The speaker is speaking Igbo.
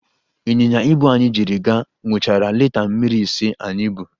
ịnyịnya ibu anyị jiri gaa, ṅụchara lita mmiri ise anyị bu.